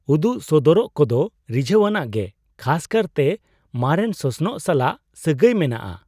ᱩᱫᱩᱜ ᱥᱚᱫᱚᱨᱟᱜ ᱠᱚᱫᱚ ᱨᱤᱡᱷᱟᱹᱣᱟᱱᱟᱜ ᱜᱮ, ᱠᱷᱟᱥ ᱠᱟᱨᱛᱮ ᱢᱟᱨᱮᱱ ᱥᱚᱥᱱᱚᱜ ᱥᱟᱞᱟᱜ ᱥᱟᱹᱜᱟᱹᱭ ᱢᱮᱱᱟᱜᱼᱟ ᱾